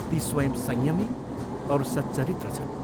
ती स्वयं संयमी औ सच्चरित्र छन्।